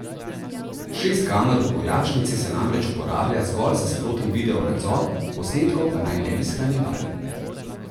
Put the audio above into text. Šest kamer v vojašnici se namreč uporablja zgolj za sproten video nadzor, posnetkov pa naj ne bi shranjevali.